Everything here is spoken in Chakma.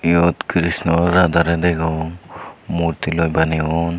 iyot krishna radha re degong murti loi baniyon.